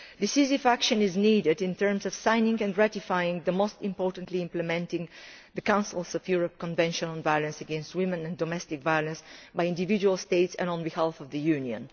Decisive action is needed in terms of signing and ratifying and, most importantly, implementing, the Council of Europe Convention on Violence against Women and Domestic Violence by individual states and on behalf of the Union.